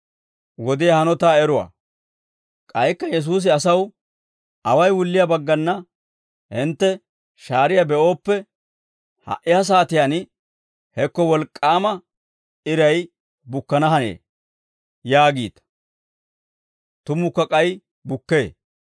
K'aykka Yesuusi asaw, «Away wulliyaa baggana hintte shaariyaa be'ooppe, ‹Ha"i ha saatiyaan hekko wolk'k'aama iray bukkana hanee› yaagiita; tumukka k'ay bukkee.